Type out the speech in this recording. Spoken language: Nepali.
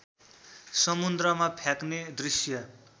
समुन्द्रमा फ्याँक्ने दृश्य